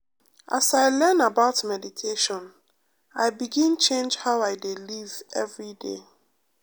as i learn about meditation i begin change how i dey live every day.